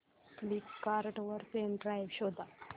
Flipkart वर pen drive शोधा